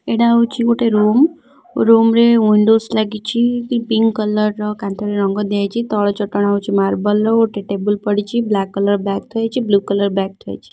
ଏଇଟା ହଉଛି ଗୋଟେ ରୁମ୍‌ ରୁମ୍‌ ରେ ୱିଣ୍ଡୋସ୍‌ ଲାଗିଛି ପିଂକ କଲର କାନ୍ଥରେ ରଙ୍ଗ ଦିଆଯାଇଛି ତଳ ଚଟାଣ ହେଉଛି ମାର୍ବଲ ର ଗୋଟେ ଟେବୁଲ ପଡିଛି ବ୍ଲାକ କଲର ବ୍ୟାଗ ଥୁଆ ହେଇଛି ବ୍ଲୁ କଲର ବ୍ୟାଗ ଥୁଆ ହେଇଛି।